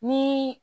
Ni